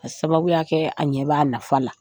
A sababu y'a kɛ, a ɲɛ b'a nafa la.